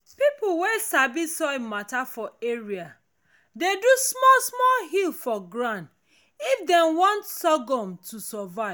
people wey sabi soil matter for area dey do small small hill for ground if den want sorghum to survive